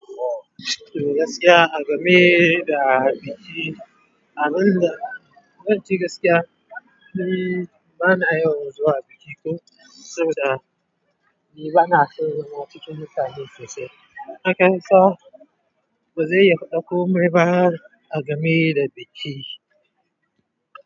Eh, gaskiya, agame da biki, abinda. Zan ce gaskiya, niiii bana yawan zuwa biki ko saboda ni bana son zama cikin mutane sosai. Hakansa bazai yaɗaku mun yi ba agame da biki.